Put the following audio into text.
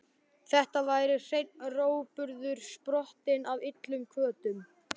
Þetta væri hreinn rógburður, sprottinn af illum hvötum.